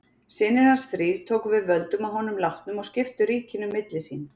Synir hans þrír tóku við völdum að honum látnum og skiptu ríkinu milli sín.